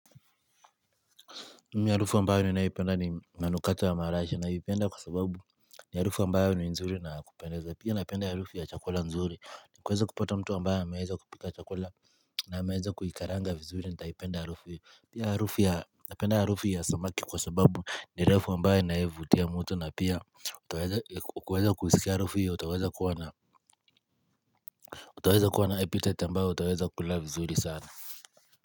Mimi harufu ambayo ni naipenda ni manukato ya maraisha naipenda kwa sababu ni harufu ambayo ni nzuri na kupendeza. Pia napenda harufu ya chakula nzuri ni kuweza kupata mtu ambayo amaweza kupika chakula na ameweza kuikaranga vizuri nitaipenda harufu ya Pia harufu ya napenda harufu ya samaki kwa sababu ni harufu ambayo inayovutia mtu na pia utaweza ku kuweza kuhisi harufu hiyo utaweza kuwa na utaweza kuwa na appetite ambayo utaweza kula vizuri sana.